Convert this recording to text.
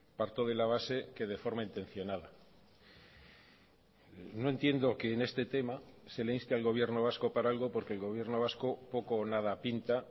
parto de la base que de forma intencionada no entiendo que en este tema se le inste al gobierno vasco para algo porque el gobierno vasco poco o nada pinta